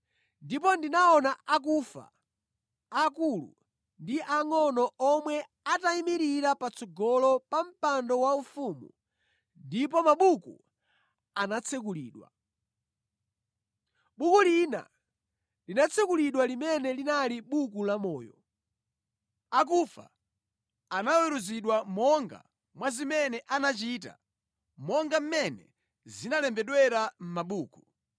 Ndipo ndinaona akufa, aakulu ndi aangʼono omwe atayimirira patsogolo pa Mpando Waufumu ndipo mabuku anatsekulidwa. Buku lina linatsekulidwa limene linali Buku Lamoyo. Akufa anaweruzidwa monga mwa zimene anachita monga mmene zinalembedwera mʼmabuku.